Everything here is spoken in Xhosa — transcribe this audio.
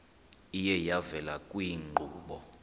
iye yavela kwiinkqubo